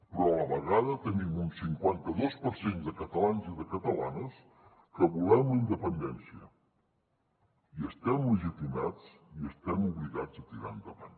però a la vegada tenim un cinquanta dos per cent de catalans i de catalanes que volem la independència i estem legitimats i estem obligats a tirar endavant